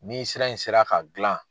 Ni sira in sera ka gilan